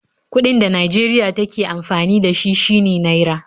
Kuɗin da Najeriya take amfani da shi shine Naira